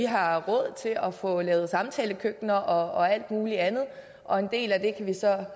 har råd til at få lavet samtalekøkkener og alt muligt andet og en del af det